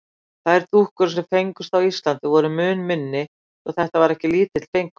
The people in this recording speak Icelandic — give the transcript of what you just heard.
Þær dúkkur, sem fengust á Íslandi, voru mun minni svo þetta var ekki lítill fengur.